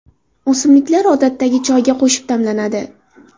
O‘simliklar odatdagi choyga qo‘shib damlanadi.